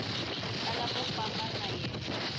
tala ku famba na yena